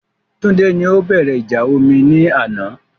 Túndé ni o bẹ̀rẹ̀ ìjà omi ní àná